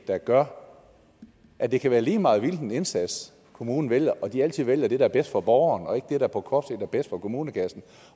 der gør at det kan være lige meget hvilken indsats kommunen vælger og at de altid vælger det der er bedst for borgeren og ikke det der på kort sigt er bedst for kommunekassen